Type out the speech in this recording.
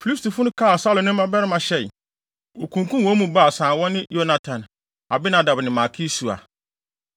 Filistifo no kaa Saulo ne ne mmabarima hyɛe. Wokunkum wɔn mu baasa a wɔne Yonatan, Abinadab ne Malki-Sua.